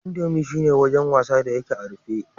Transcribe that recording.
Indo shi ne wajen wasa da yake a rufe.